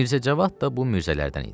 Mirzəcavad da bu mirzələrdən idi.